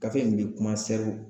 Gafe in be kuma sɛriw